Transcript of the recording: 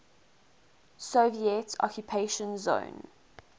soviet occupation zone